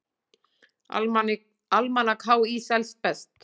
Almanak HÍ selst best